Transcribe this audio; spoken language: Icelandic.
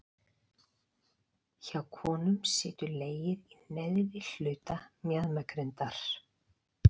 Hjá konum situr legið í neðri hluta mjaðmagrindar.